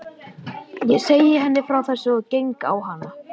Ég segi henni frá þessu og geng á hana.